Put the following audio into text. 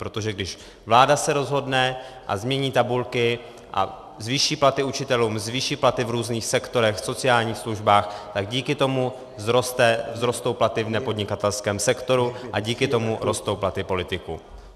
Protože když vláda se rozhodne a změní tabulky a zvýší platy učitelům, zvýší platy v různých sektorech, v sociálních službách, tak díky tomu vzrostou platy v nepodnikatelském sektoru a díky tomu rostou platy politiků.